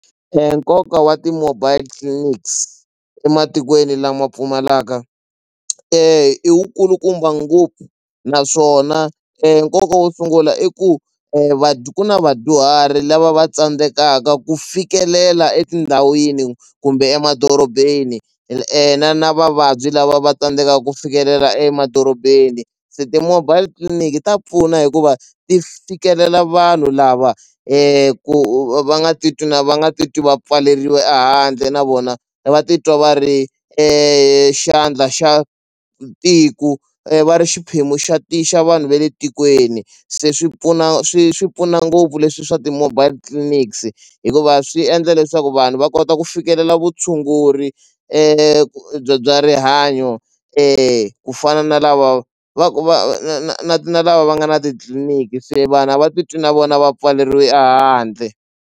Nkoka wa ti-mobile clinics ematikweni lama pfumalaka i wu kulukumba ngopfu naswona nkoka wo sungula i ku ku na vadyuhari lava va tsandzekaka ku fikelela etindhawini kumbe emadorobeni na na vavabyi lava va tsandzekaku ku fikelela emadorobeni se ti-mobile clinic ta pfuna hikuva ti fikelela vanhu lava ku va va nga ti twi na va nga ti twi va pfalelilwe ehandle na vona va e titwa va ri xandla xa tiku va ri xiphemu xa xa vanhu va le tikweni se swi pfuna swi swi pfuna ngopfu leswi swa ti-mobile clinics hikuva swi endla leswaku vanhu va kota ku fikelela vutshunguri bya bya rihanyo ku fana na lava va ku va na na na na lava va nga na titliliniki se vanhu a va ti twi na vona va pfaleriwe ehandle.